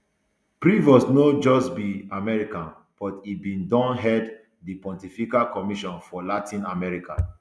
prevost no just be american but e bin don head di pontifical commission for latin america